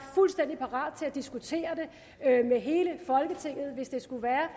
fuldstændig parat til at diskutere det med hele folketinget hvis det skulle være